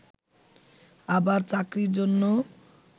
আবার চাকরির জন্য